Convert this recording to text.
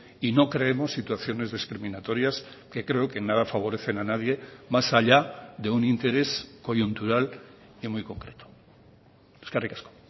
y no creemos situaciones discriminatorias que creo que en nada favorecen a nadie más allá de un interés coyuntural y muy concreto eskerrik asko